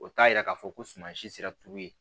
O t'a yira k'a fɔ ko suma si sera tulu ye